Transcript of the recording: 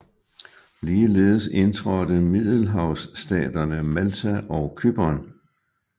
Ligeledes indtrådte middelhavsstaterne Malta og Cypern